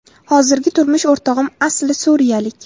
Hozirgi turmush o‘rtog‘im asli suriyalik.